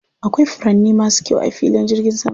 Akwai furanni masu kyau a filin jirgin saman.